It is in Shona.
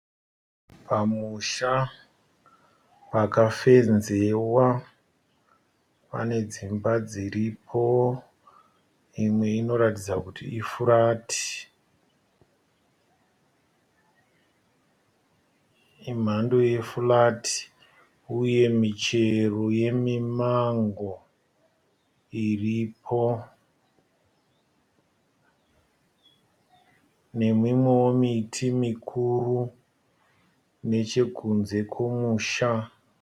Pamusha pakafenzewa pane dzimba dziripo, imwe inoratidza kuti ifurati. Imhando yefurati uye michero yemi(Mango) iripo nemimwewo miti mikuru nechekunze kwemusha.